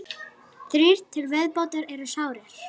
Þrír til viðbótar eru sárir